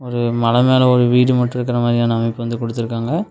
ஒரு மல மேல ஒரு வீடு மட்டு இருக்கற மாறியான அமைப்பு வந்து குடுத்துருக்காங்க.